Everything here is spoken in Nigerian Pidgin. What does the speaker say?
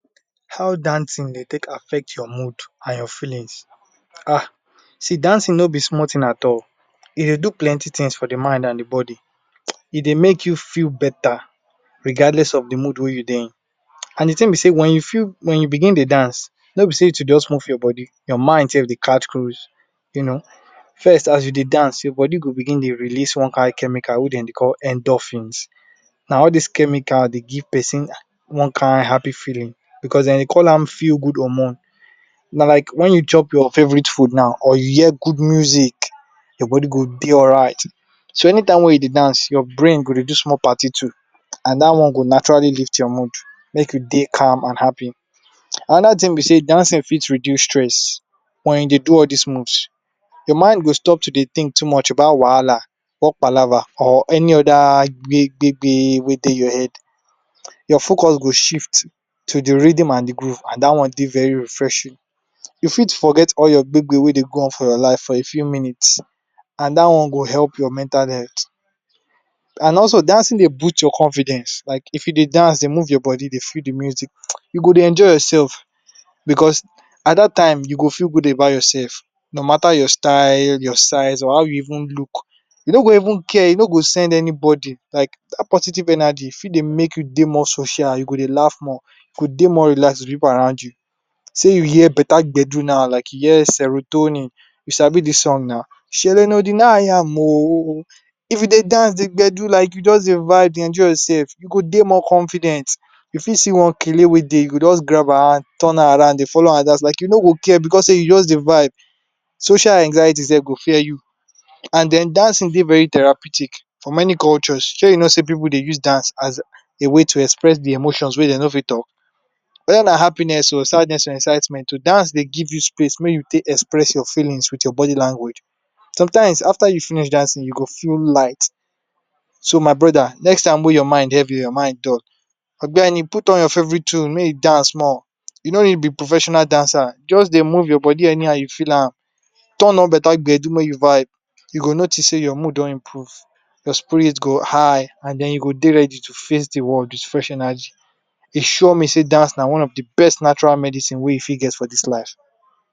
How dancing Dey take affect your mood and your feelings um see dancing no be small tin at all e Dey do plenty tings for di mind and di body e Dey make you feel better regardless of di mood wey you Dey in and de thing be sey wen you feel wen you begin Dey dance no be sey to just move your body your mind sef Dey catch cruise First as you Dey dance your body go begin Dey release one kain chemical wey dem Dey call endophynes na all dis chemical Dey give person one kain happy feeling because dem Dey call am feel good hormone na like wen you chop your favorite food now or you hear good music your body go Dey alright anytime wey you Dey dance your brain go Dey do small party too and dat one go naturally lift your mood make you Dey calm and happy anoda thing be sey dancing fit reduce stress when you dey do all dis moves your mind go stop to Dey think too much about wahala or palava or any oda big-big ting wey Dey your head your focus go shift to de rhythm and di groove and dat one Dey very refreshing you fit forget all your wey Dey happen for your life for a few minute and dat one go help your mental health and also dancing Dey boost your confidence like if you Dey dance deg move your body Dey feel de music you go Dey entire yourself because at dat time you go Dey feel good about yourself no matter your style your size or how you even look you no go even care you no go send anybody like dat positive energy fit Dey make you Dey more social you go Dey laugh more you go Dey more relaxed with pipu around you sey you hear betta bedu now like yes serotoni you sabi de song na if you Dey dance Dey gbedu like you just Dey vibe Dey enjoy sef you go Dey alright Dey more confident you fit see one wey Dey you go just grab her hand turn her around Dey follow her dance like you no go care because Dey you just Dey vibe social anxiety sef go fear you and den dat song Dey therapeutic for many cultures shey you know sey pipu Dey use dance as a way to express emotions wey dem no fit talk wether na happiness nor sadness or excitement dance Dey give you space wey you go express your feelings with your body language sometimes after you finish dancing you go feel light so my brother next time when your mind heavy or your mind dull den you put on your favorite tune make you dance small you no fit be professional dancer just Dey move your body anyhow you feel am turn on better gbedu make you vibe you go notice sey your mood don improve your spirit go highhh and den you go Dey ready to face de word with fresh energy e sure me sey dance na one of de best natural medicine wey you fit get for dis life.